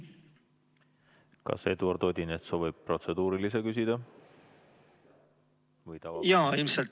Kas Eduard Odinets soovib protseduurilise küsimuse küsida?